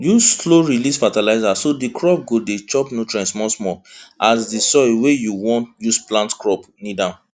use slowrelease fertilizer so the crop go dey chop nutrient smallsmall as di soil wey you wan use plant crop need am